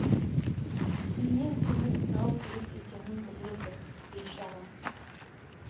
кімнен көмек сұрау керек екенін біледі бейшара